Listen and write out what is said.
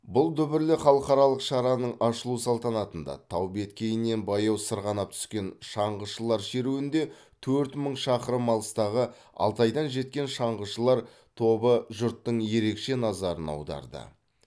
бұл дүбірлі халқаралық шараның ашылу салтанатында тау беткейінен баяу сырғанап түскен шаңғышылар шеруінде төрт мың шақырым алыстағы алтайдан жеткен шаңғышылар тобы жұрттың ерекше назарын аударды